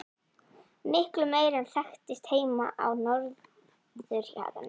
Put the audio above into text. Miklu meiri en þekktist heima á norðurhjaranum.